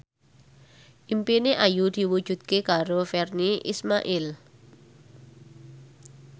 impine Ayu diwujudke karo Virnie Ismail